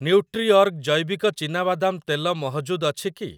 ନ୍ୟୁଟ୍ରିଅର୍ଗ ଜୈବିକ ଚୀନାବାଦାମ ତେଲ ମହଜୁଦ ଅଛି କି?